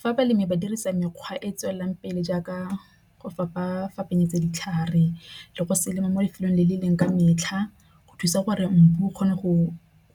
Fa balemi ba dirisa mekgwa e tswelelang pele jaaka go ditlhare le go se lema mo lefelong le le leng ka metlha go thusa gore mmu o kgona go